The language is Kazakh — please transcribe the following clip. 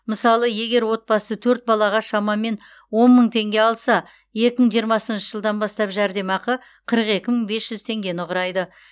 мысалы егер отбасы төрт балаға шамамен он мың теңге алса екі мың жиырмасыншы жылдан бастап жәрдемақы қырық екі мың бес жүз теңгені құрайды